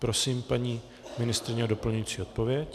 Prosím paní ministryni o doplňující odpověď.